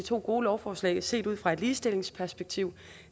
to gode lovforslag set ud fra et ligestillingsperspektiv